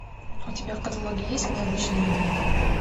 у тебя в каталоге есть мы обычные медведи